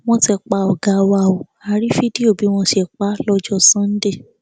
wọn ti pa ọgá wa ó a rí fídíò bí wọn ṣe pa á lọjọ sànńdẹ